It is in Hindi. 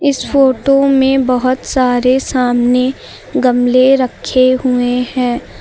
इस फोटो में बहुत सारे सामने गमले रखे हुए हैं।